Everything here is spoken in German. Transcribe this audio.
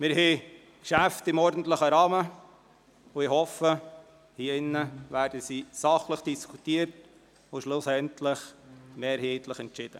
Wir haben Geschäfte im ordentlichen Rahmen, und ich hoffe, diese werden hier drin sachlich diskutiert und schlussendlich mehrheitlich entschieden.